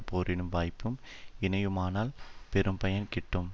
போரிடும் வாய்ப்பும் இணையுமானால் பெரும்பயன் கிட்டும்